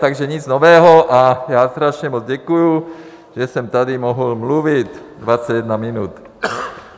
Takže nic nového a já strašně moc děkuji, že jsem tady mohl mluvit 21 minut.